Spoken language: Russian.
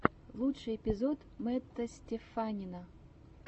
лучший эпизод мэтта стеффанина